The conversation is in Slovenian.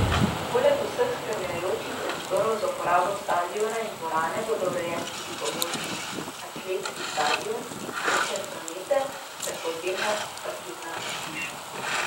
Poleg vseh spremljajočih prostorov za uporabo stadiona in dvorane bodo urejeni tudi pomožni atletski stadion in center za mete ter podzemna parkirna hiša.